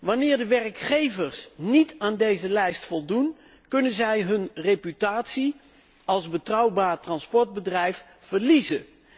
Wanneer de werkgevers niet aan deze lijst voldoen, kunnen zij hun reputatie als betrouwbaar transportbedrijf verliezen.